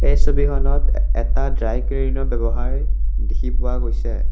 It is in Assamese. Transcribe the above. এই ছবিখনত এটা ড্ৰাই ক্লিনৰ ব্যৱসায় দেখি পোৱা গৈছে।